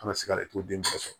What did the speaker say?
An ka se ka den ba sɔrɔ